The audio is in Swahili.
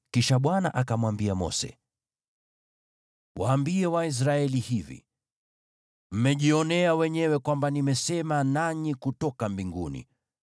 Kisha Bwana akamwambia Mose, “Waambie Waisraeli hivi: ‘Mmejionea wenyewe kwamba nimesema nanyi kutoka mbinguni: